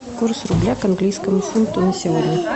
курс рубля к английскому фунту на сегодня